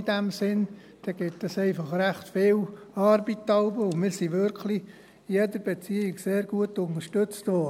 In diesem Sinn gibt es dann jeweils einfach recht viel Arbeit, und wir wurden wirklich in jeder Beziehung sehr gut unterstützt.